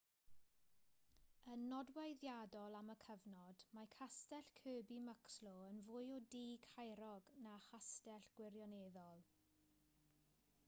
yn nodweddiadol am y cyfnod mae castell kirby muxloe yn fwy o dŷ caerog na chastell gwirioneddol